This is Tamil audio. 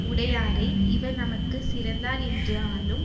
உடையாரை இவர் நமக்கு சிறந்தார் என்று ஆளும்